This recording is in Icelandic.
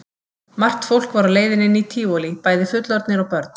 Margt fólk var á leiðinni inn í Tívolí, bæði fullorðnir og börn.